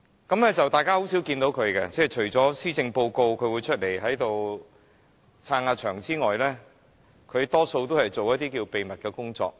大家很少看到他，除了施政報告宣讀時，他會充撐場面之外，他大多數都在進行秘密工作。